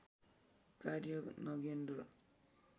कार्य नगेन्द्र